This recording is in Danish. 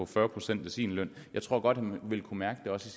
fyrre procent af sin løn jeg tror godt han ville kunne mærke det også